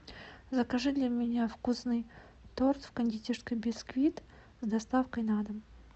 закажи для меня вкусный торт в кондитерской бисквит с доставкой на дом